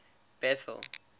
bethal